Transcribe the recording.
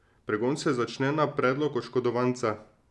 Pregon se začne na predlog oškodovanca.